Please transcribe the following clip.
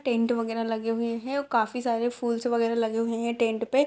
Tent वगेरा लगे हुए हैं और काफी सारे फूल्स वगेरा लगे हुए हैं टेंट पे।